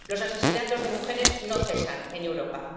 Los asesinatos de mujeres no cesan en Europa.